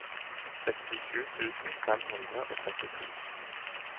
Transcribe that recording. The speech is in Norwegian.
sekstisju tusen fem hundre og trettito